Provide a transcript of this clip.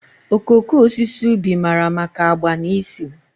okooko osisi ubi mara maka agba na ísì.